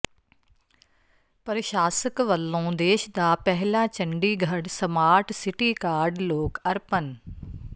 ਪ੍ਰਸ਼ਾਸਕ ਵਲੋਂ ਦੇਸ਼ ਦਾ ਪਹਿਲਾ ਚੰਡੀਗੜ੍ਹ ਸਮਾਰਟ ਸਿਟੀ ਕਾਰਡ ਲੋਕ ਅਰਪਣ